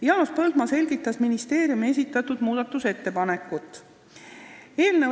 Jaanus Põldmaa selgitas ministeeriumi esitatud muudatusettepanekut.